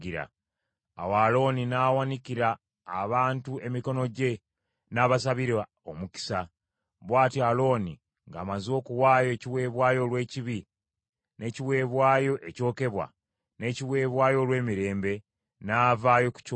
Awo Alooni n’awanikira abantu emikono gye, n’abasabira omukisa. Bw’atyo Alooni ng’amaze okuwaayo ekiweebwayo olw’ekibi, n’ekiweebwayo ekyokebwa, n’ekiweebwayo olw’emirembe, n’avaayo ku kyoto.